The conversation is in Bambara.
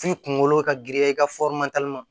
F'i kunkolo ka girinya i ka